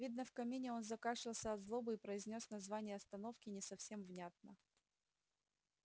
видно в камине он закашлялся от злобы и произнёс название остановки не совсем внятно